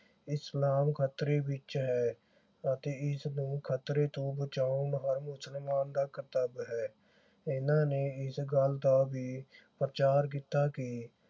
ਇਸਲਾਮ ਖਤਰੇ ਵਿਚ ਹੈ ਅਤੇ ਇਸ ਨੂੰ ਖਤਰੇ ਤੋਂ ਬਚਾਓ ਹਰ ਮੁਸਲਮਾਨ ਦਾ ਕਰਤੱਵ ਹੈ ਇਨ੍ਹਾਂ ਨੇ ਇਸ ਗੱਲ ਦਾ ਵੀ ਪ੍ਰਚਾਰ ਕੀਤਾ ਕਿ